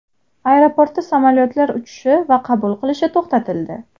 Aeroportda samolyotlar uchishi va qabul qilinishi to‘xtatildi.